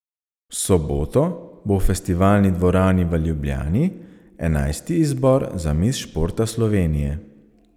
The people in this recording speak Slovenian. V soboto bo v Festivalni dvorani v Ljubljani enajsti izbor za mis športa Slovenije.